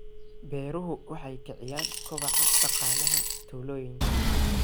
Beeruhu waxay kiciyaan kobaca dhaqaalaha tuulooyinka.